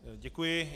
Děkuji.